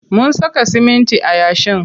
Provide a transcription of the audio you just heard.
Mun saka siminti a yashin.